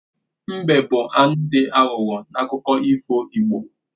Mbe bụ anụ dị aghụghọ n'akụkọ ifo igbo